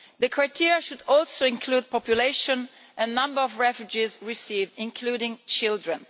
The criteria should also include population and the number of refugees received, including children.